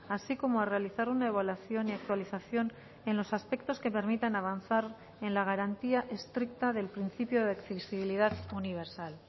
así como a realizar una evaluación y actualización en los aspectos que permitan avanzar en la garantía estricta del principio de accesibilidad universal